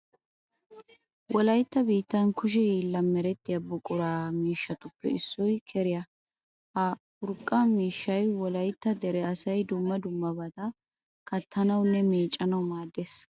Wolaytta biittan kushe Hiillan merettiya urqqaa miishshatuppe issoy keriya. Ha urqqa miishshay wolaytta dere asay dumma dummabata kattanawunne meeccanawu maaddees.